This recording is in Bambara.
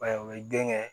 Ba ye o ye den kɛ